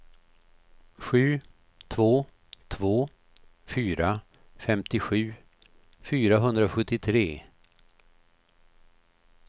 sju två två fyra femtiosju fyrahundrasjuttiotre